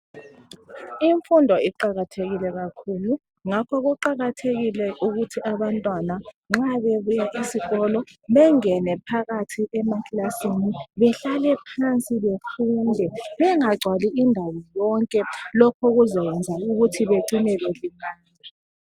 Imfundo iqakathekile kakhulu ngakho ngakho kuqakathekile ukuthi abantwana nxa bebuya esikolo bengene phakathi emakilasini bahlale phansi befunde bengacwali indawo yonke lokho kuzokwenza ukuthi bacine belimala.